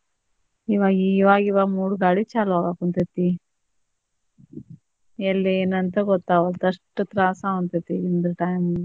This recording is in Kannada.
ಇವಾಗಿವಾಗ ಮೂಡ ಗಾಳಿ ಚಾಲೂ ಅಗಕುಂತೇತಿ ಎಲ್ಲಿ ಯೇನ ಅಂತ ಗೊತ್ತಾಗವಲ್ದು ಅಷ್ಟ್ ತ್ರಾಸ್ ಆಗಂತೆತಿ ಈಗ time.